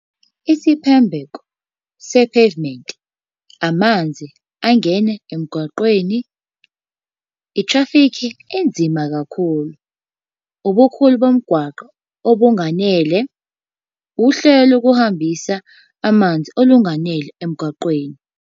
Isiphembeko se-pavement, amanzi angene emgwaqeni, i-traffic enzima kakhulu. Ubukhulu bomgwaqo, obunganele. Uhlelo lokuhambisa amanzi olunganele emgwaqeni.